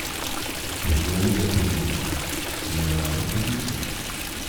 Pogoji za trening so naravnost odlični.